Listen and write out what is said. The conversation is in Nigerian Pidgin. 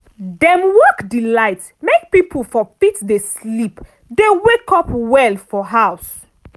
dem work di light make pipul for fit dey sleep dey wake up well for house.